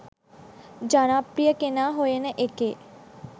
ජනප්‍රිය කෙනා හොයන එකේ